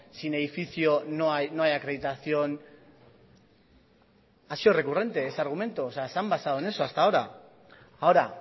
sin edificio no hay acreditación ha sido recurrente ese argumento o sea se han basado en eso hasta ahora ahora